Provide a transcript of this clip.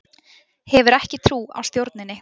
Hefur ekki trú á stjórninni